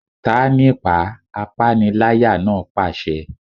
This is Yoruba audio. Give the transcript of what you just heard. Ta á nípàá! Apániláyà náà pàṣẹ.